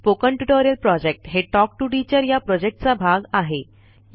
spoken tutorial project हे talk to teacher या प्रॉजेक्टचा भाग आहे